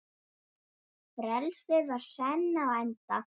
Frelsið var senn á enda.